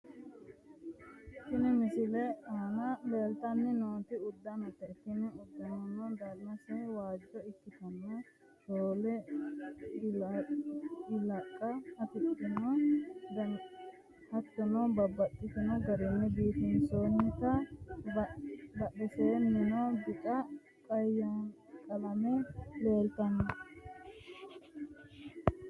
Tini misilete aana leeltanni nooti uddanote, tini uddanono danase waajjo ikkitanna ,shoole ilqa afidhinote hattono babbaxino garinni biifinsoonnite, badheseennino bica qalame leeltanno.